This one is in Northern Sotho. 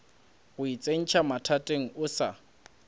go itsentšha mathateng o sa